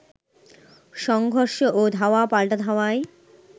সংঘর্ষ ও ধাওয়া পাল্টা ধাওয়ায়